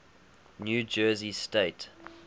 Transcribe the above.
new jersey state